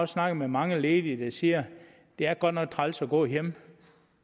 snakket med mange ledige der siger det er godt nok træls at gå hjemme